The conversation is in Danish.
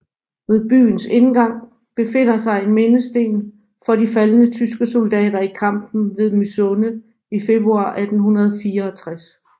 Ved byens indgang befinder sig en mindesten for de faldne tyske soldater i kampen ved Mysunde i februar 1864